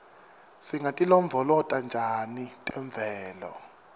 singatilondvolota njani temvelo